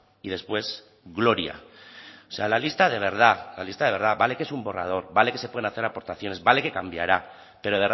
y después gloria o sea la lista de verdad la lista de verdad vale que es un borrador vale que se pueden hacer aportaciones vale que cambiará pero